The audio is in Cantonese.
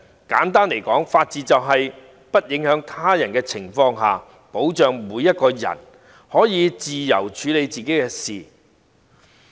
簡單來說，法治就是在不影響他人的情況下，保障每個人可以自由處理自己的事情。